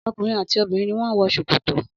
Ọkunrin ati obinrin ni wọn wọ sokoto